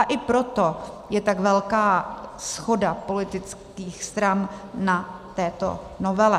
A i proto je tak velká shoda politických stran na této novele.